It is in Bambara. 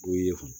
W'i ye